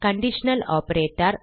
conditional operator